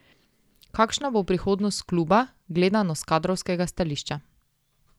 Kakšna bo prihodnost kluba, gledano s kadrovskega stališča?